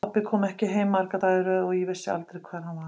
Pabbi kom ekki heim marga daga í röð og ég vissi aldrei hvar hann var.